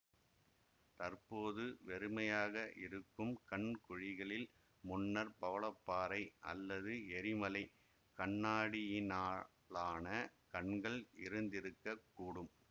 தற்போது வெறுமையாக இருக்கும் கண் குழிகளில் முன்னர் பவளப்பாறை அல்லது எரிமலை கண்ணாடியினாலான கண்கள் இருந்திருக்க கூடும்